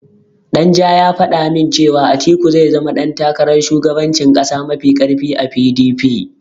Danja ya faɗa min cewa Atiku zai zama ɗan takarar shugabancin ƙasa mafi ƙarfi a PDP.